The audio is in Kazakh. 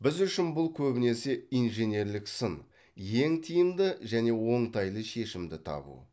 біз үшін бұл көбінесе инженерлік сын ең тиімді және оңтайлы шешімді табу